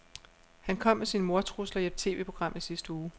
Han kom med sine mordtrusler i et TVprogram i sidste uge.